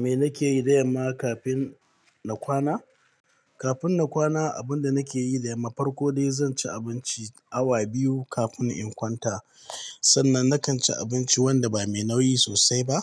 Me nake yi da yamma kafin na kwana? Kafin na kwana, abin da nake yi da yamma, farko dai zan ci abinci awa biyu kafin in kwanta. Sannan nakan ci abinci wanda ba me nauyi sosai ba.